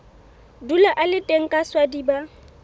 dula a le teng kaswadi ba